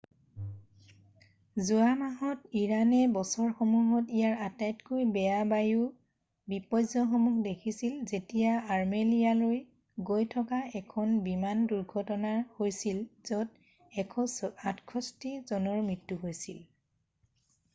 যোৱা মাহত ইৰাণে বছৰসমূহত ইয়াৰ আটাইতকৈ বেয়া বায়ু বিপৰ্য্যয়সমূহ দেখিছিল যেতিয়া আৰ্মেলিয়ালৈ গৈ থকা এখন বিমানৰ দূৰ্ঘটনা হৈছিল য'ত 168 জনৰ মৃত্যু হৈছিল৷